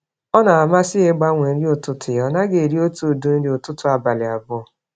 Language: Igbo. Ọ namasị ya igbanwe nri ụtụtụ ya, ọnaghị eri otú ụdị nri ụtụtụ abalị 2